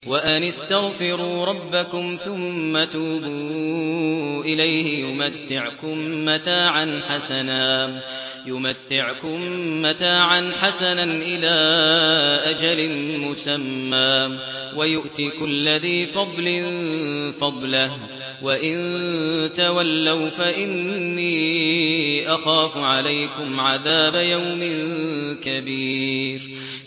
وَأَنِ اسْتَغْفِرُوا رَبَّكُمْ ثُمَّ تُوبُوا إِلَيْهِ يُمَتِّعْكُم مَّتَاعًا حَسَنًا إِلَىٰ أَجَلٍ مُّسَمًّى وَيُؤْتِ كُلَّ ذِي فَضْلٍ فَضْلَهُ ۖ وَإِن تَوَلَّوْا فَإِنِّي أَخَافُ عَلَيْكُمْ عَذَابَ يَوْمٍ كَبِيرٍ